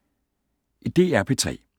DR P3